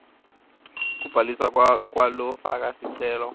kubhaliswa kwalofaka sicelo